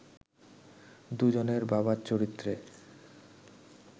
দুজনের বাবার চরিত্রে